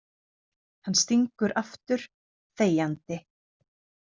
Hann stingur aftur, þegjandi.